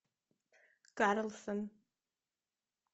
карлсон